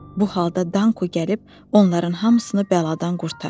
Bu halda Danko gəlib onların hamısını bəladan qurtardı.